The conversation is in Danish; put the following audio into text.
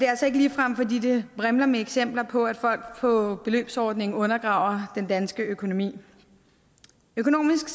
altså ikke ligefrem fordi det vrimler med eksempler på at folk på beløbsordningen undergraver den danske økonomi økonomisk